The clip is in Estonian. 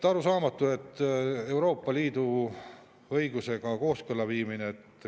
Arusaamatu on see Euroopa Liidu õigusega kooskõlla viimine.